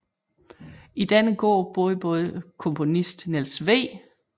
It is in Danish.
I denne gård boede både komponisten Niels W